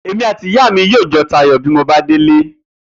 Èmi àti ìyá mi yóò jo̩ ta ayò bí mo bá délé